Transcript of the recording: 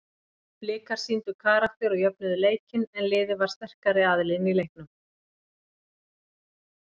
Blikar sýndu karakter og jöfnuðu leikinn en liðið var sterkari aðilinn í leiknum.